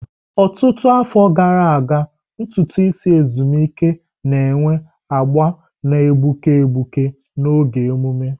Ọtụtụ afọ gara aga, ntutu isi ezumike na enwe agba na-egbuke egbuke n'oge ememe.